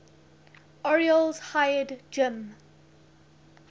orioles hired jim